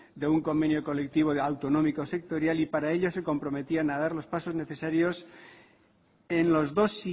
de un convenio colectivo autonómico sectorial y para ello se comprometían a dar los pasos necesarios en los dos